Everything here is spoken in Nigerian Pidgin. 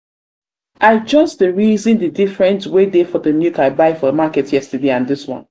i just dey reason de different wey dey for de milk i buy for market yesterday and this one.